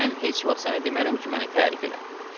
Mən heç vaxt sənə demərəm ki, məni tərif elə.